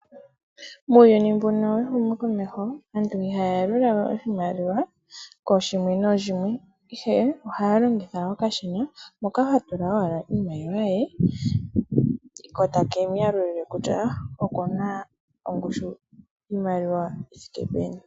Muuyuni mbuno wehumokomeho aantu ihaya yalula we iimaliwa kooshimwe nooshimwe ihe ohaya longitha okashina hoka ha tula owala iimaliwa ye, ko take mu yalulile kutya okuna ongushu yiimaliwa yi thike peni.